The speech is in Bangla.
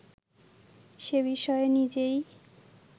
সে-বিষয়ে নিজেই